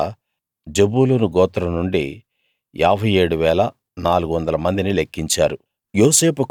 అలా జెబూలూను గోత్రం నుండి 57 400 మందిని లెక్కించారు